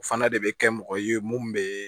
O fana de bɛ kɛ mɔgɔ ye mun bɛ